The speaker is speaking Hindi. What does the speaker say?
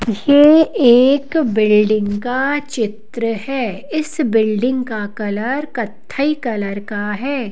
यह एक बिल्डिंग का चित्र है इस बिल्डिंग का कलर कत्थई कलर का है।